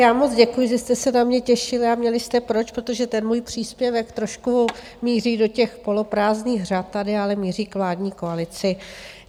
Já moc děkuji, že jste se na mě těšili a měli jste proč, protože ten můj příspěvek trošku míří do těch poloprázdných řad tady, ale míří k vládní koalici.